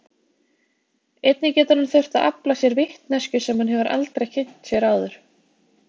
Einnig getur hann þurft að afla sér vitneskju sem hann hefur aldrei kynnt sér áður.